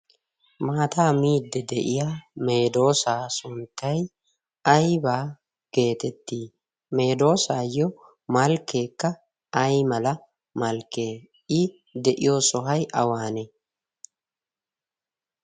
maataa midde de'iya meedoosaa sunttai aibaa geetettii meedoosaayyo malkkeekka ay mala malkkee i de'iyo sohay awaane?